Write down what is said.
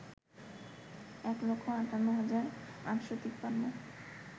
এক লক্ষ আটান্ন হাজার আটশ তিপান্ন